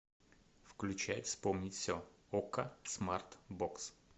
включай вспомнить все окко смарт бокс